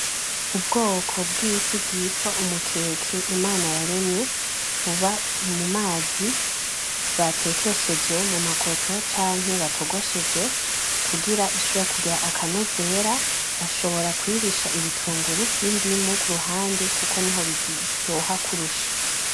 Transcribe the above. Ubwoko bw'ifi bwitwa umukeke Imana yaremye buba mu mazi batekesheje mu makoto canke batogosheje kugira ishobore kugira akanovera, bashobora kuyirisha ibitunguru n'indimu kuruhande kuko niho biryoha kurusha.